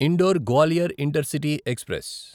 indoor Gwalior intercity express